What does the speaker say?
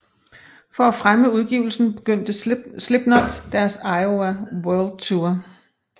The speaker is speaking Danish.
For at fremme udgivelsen begyndte Slipknot deres Iowa World Tour